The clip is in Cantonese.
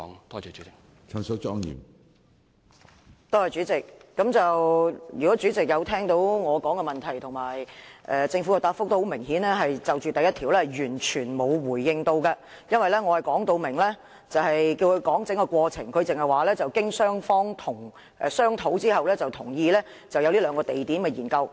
主席，若有聆聽我的提問及政府就主體質詢第一部分所作的答覆，當可知道局長顯然是完全沒有作出回應，因為我說明要求就整個過程作出解釋，但他只是指出雙方經商討後同意就這兩個地點進行研究。